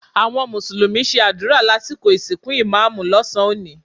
Àwọn mùsùlùmí ṣe àdúrà lásìkò ìsìnkú ìmá́àmù lọ́sàn-án òní